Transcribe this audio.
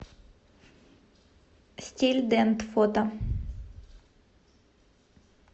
стильдент фото